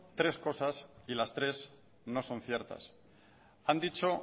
tres cosas y las tres no son ciertas han dicho